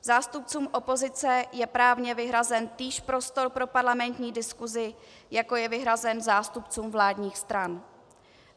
Zástupcům opozice je právně vyhrazen týž prostor pro parlamentní diskusi, jako je vyhrazen zástupcům vládních stran.